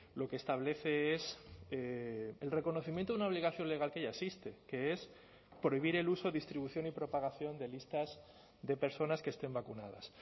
lo que establece es el reconocimiento de una obligación legal que ya existe que es prohibir el uso de distribución y propagación de listas de personas que estén vacunadas